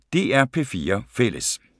DR P4 Fælles